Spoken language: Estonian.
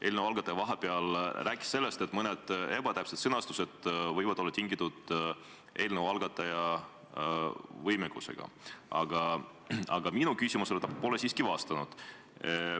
Eelnõu algataja rääkis vahepeal sellest, et mõned ebatäpselt sõnastatud kohad võivad olla tingitud eelnõu algataja võimekuse puudumisest, aga minu küsimusele pole ta siiski vastanud.